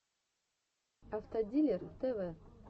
автодилер тв